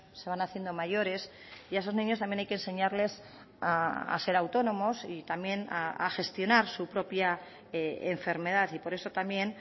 se van haciendo mayores y a esos niños también hay que enseñarles a ser autónomos y también a gestionar su propia enfermedad y por eso también